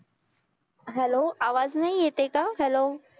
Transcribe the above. hello आवाज नई येत आहे का hello